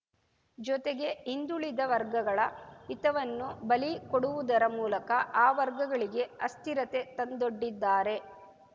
ಜೊತೆಗೆ ಹಿಂದುಳಿದ ವರ್ಗಗಳ ಹಿತವನ್ನು ಬಲಿ ಕೊಡುವುದರ ಮೂಲಕ ಆ ವರ್ಗಗಳಿಗೆ ಅಸ್ಥಿರತೆ ತಂದೊಡ್ಡಿದ್ದಾರೆ